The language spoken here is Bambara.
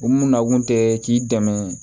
U mun nakun tɛ k'i dɛmɛ